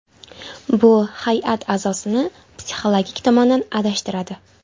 Bu hay’at a’zosini psixologik tomondan adashtiradi.